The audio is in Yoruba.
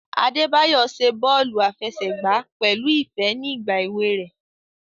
Adebayo ṣe bọọlu afẹsẹgba pẹlu ifẹ ni igba ewe rẹ.